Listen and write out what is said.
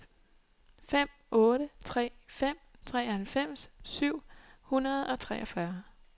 fem otte tre fem treoghalvfems syv hundrede og treogfyrre